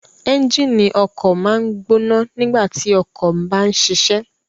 Ẹnjínì ọkọ maa n gbona nigbati ọkọ ba nṣiṣẹ